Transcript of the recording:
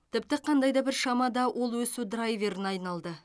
тіпті қандай да бір шамада ол өсу драйверіне айналды